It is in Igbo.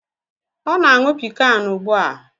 Ọ na-aṅụ pịkan ugbu a.